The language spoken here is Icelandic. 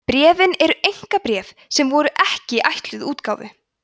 bréfin eru einkabréf sem voru ekki ætluð útgáfu